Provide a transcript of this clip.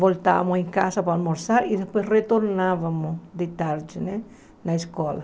Voltávamos em casa para almoçar e depois retornávamos de tarde né na escola.